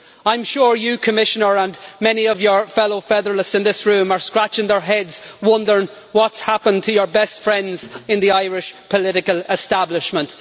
I'm sure you, Commissioner, and many of your fellow federalists in this room are scratching their heads wondering what's happened to your best friends in the Irish political establishment.